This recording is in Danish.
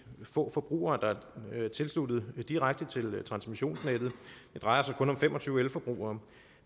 få forbrugere der er tilsluttet direkte til transmissionsnettet det drejer sig kun om fem og tyve elforbrugere